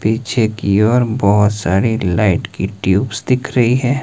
पीछे की ओर बहुत सारी लाइट की ट्यूब्स दिख रही है।